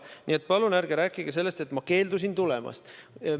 " Nii et palun ärge rääkige, et ma keeldusin tulemast.